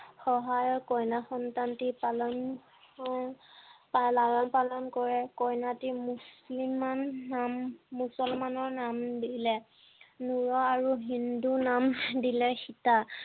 সহায়ত কন্যা সন্তানটি লালন পালন কৰে কন্যাটিৰ মুচলিমা নাম মুছলমানৰ নাম দিলে হিন্দু নাম দিলে সীতা